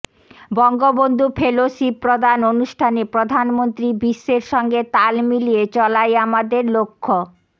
Bangabandhu fellowship প্রদান অনুষ্ঠানে প্রধানমন্ত্রী বিশ্বের সঙ্গে তাল মিলিয়ে চলাই আমাদের লক্ষ্য